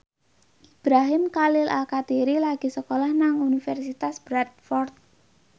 Ibrahim Khalil Alkatiri lagi sekolah nang Universitas Bradford